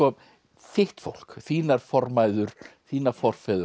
þitt fólk þínar formæður þína forfeður og